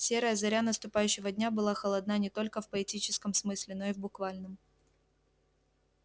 серая заря наступающего дня была холодна не только в поэтическом смысле но и в буквальном